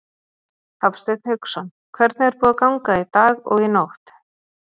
Hafsteinn Hauksson: Hvernig er búið að ganga í dag og í nótt?